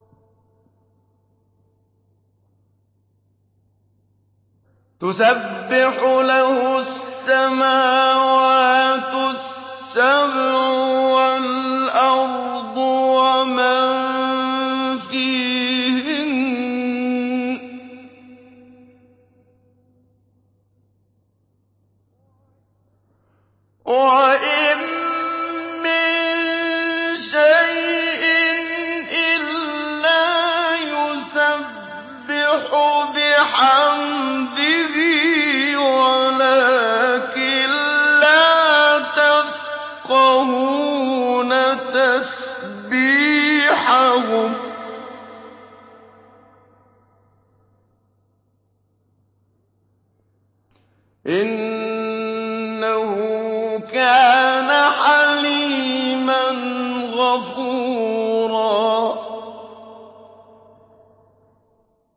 تُسَبِّحُ لَهُ السَّمَاوَاتُ السَّبْعُ وَالْأَرْضُ وَمَن فِيهِنَّ ۚ وَإِن مِّن شَيْءٍ إِلَّا يُسَبِّحُ بِحَمْدِهِ وَلَٰكِن لَّا تَفْقَهُونَ تَسْبِيحَهُمْ ۗ إِنَّهُ كَانَ حَلِيمًا غَفُورًا